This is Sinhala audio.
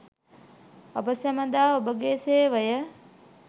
අප සැමදා ඔබගේ සේවය